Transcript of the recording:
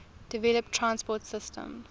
developed transport systems